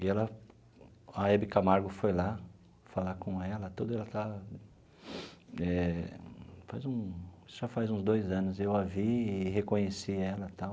E ela... a Hebe Camargo foi lá falar com ela, tudo ela estava...eh faz um... já faz uns dois anos eu a vi e reconheci ela e tal.